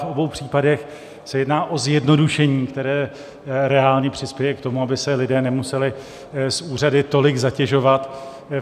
V obou případech se jedná o zjednodušení, které reálně přispěje k tomu, aby se lidé nemuseli s úřady tolik zatěžovat.